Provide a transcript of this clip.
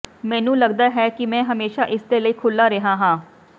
ਮੈਨੂੰ ਲਗਦਾ ਹੈ ਕਿ ਮੈਂ ਹਮੇਸ਼ਾਂ ਇਸਦੇ ਲਈ ਖੁੱਲਾ ਰਿਹਾ ਹਾਂ